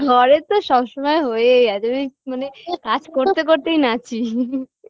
ঘরে তো সব সময় হয়েই আছে আমি মানে কাজ করতে করতেই নাচি